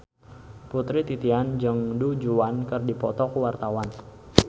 Putri Titian jeung Du Juan keur dipoto ku wartawan